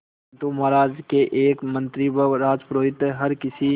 परंतु महाराज के एक मंत्री व राजपुरोहित हर किसी